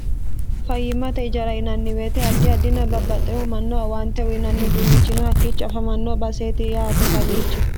fayyimmate ijara yinanni weete addi addina babbaxxehu mannoho owaante uyinannihu unnichino hakkiicho afamanno baaseeti yaate kawiichi